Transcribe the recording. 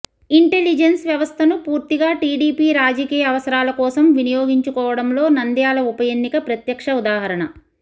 intelligence వ్యవస్థను పూర్తిగా TDP రాజకీయ అవసరాలకోసం వినియోగించుకోవడంలో నంద్యాల ఉప ఎన్నిక ప్రత్యక్ష ఉదాహరణ